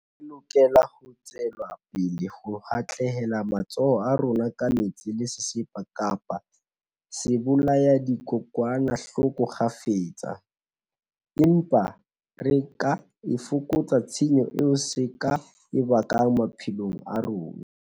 Re lokela ho tswela pele ho hatlela matsoho a rona ka metsi le sesepa kapa ka sebolayadikokwanahloko kgafetsa. Empa re ka e fokotsa tshenyo eo se ka e bakang maphelong a rona.